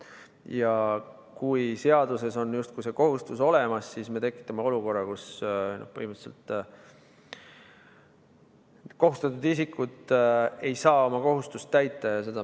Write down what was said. Kui seaduses on justkui see kohustus olemas, siis me tekitame olukorra, kus kohustatud isikud ei saa oma kohustust põhimõtteliselt täita.